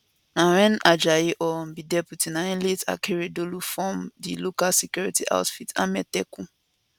na wen ajayi um be deputy na im late akeredolu form di local security outfit amotekun